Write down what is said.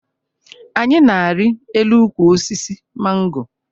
Anyị na-arị elu ukwu osisi mango